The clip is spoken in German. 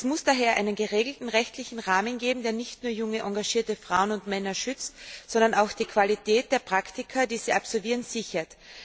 Es muss daher einen geregelten rechtlichen Rahmen geben, der nicht nur junge engagierte Frauen und Männer schützt, sondern auch die Qualität der Praktika, die sie absolvieren, sichert.